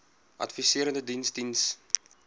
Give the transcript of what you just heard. adviserende diens diens